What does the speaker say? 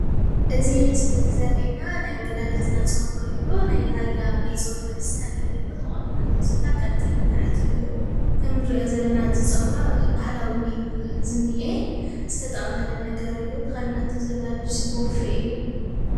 እዚ ምስሊ እዙይ ዘርእየና ናይ ወላዲትና ፀጉሪ እዩ። ናይ ራያ ናይ ፀጉሪ እስታይል እዩ ተቆኒናቶ ዘላ ቀጢን ንታሕቲ እዩ። እቲ እንርእዮ ዘለና እዚ ፀጉራ ባህላዊ እዩ ዝኒአ ዝተጠቅለለ ነገር እዩ ተከዲናቶ ዘላ ልብሲ ቦፌ እዩ።